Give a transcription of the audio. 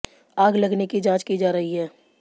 आग लगने की जांच की जा रही है